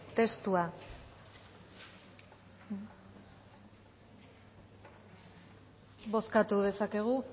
testua bozkatu dezakegu